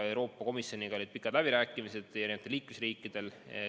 Euroopa Komisjoniga olid pikad läbirääkimised paljudel liikmesriikidel.